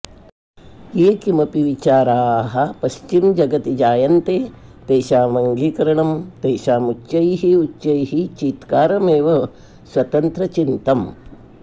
ये किमपि विचाराः पश्चिमजगति जायन्ते तेषां अङ्गीकरणं तेषां उच्चैः उच्चैः चीत्कारमेव स्वतन्त्रचिन्तम्